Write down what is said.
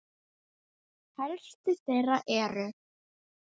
Helstu þeirra eru